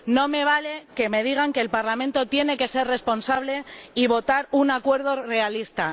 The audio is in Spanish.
No me vale que me digan que el Parlamento tiene que ser responsable y votar un acuerdo realista.